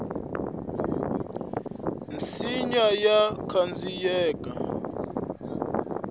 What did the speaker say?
nsinya wa khandziyeka